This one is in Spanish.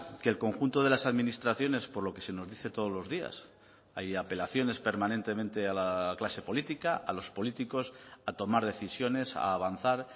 que el conjunto de las administraciones por lo que se nos dice todos los días hay apelaciones permanentemente a la clase política a los políticos a tomar decisiones a avanzar